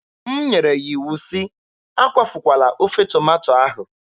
M nyere ya iwu sị, "Akwafukwala ofe tomato ahụ!"